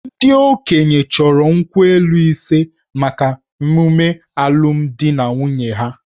Ndị okenye chọrọ nkwu elu ise maka ememe alụmdi na nwunye ha.